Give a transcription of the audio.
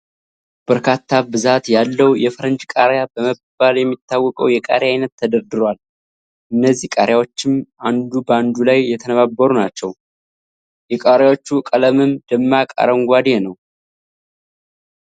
በርካታ ብዛት ያለው የፈረንጅ ቃሪያ በመባል የሚታወቀው የቃሪያ አይነት ተደርድሯል፤ እነዚህ ቃሪያዎችም አንዱ ባንዱ ላይ የተነባበሩ ናቸው። የቃሪያዎቹ ቀለምም ደማቅ አረንጓዴ ነው።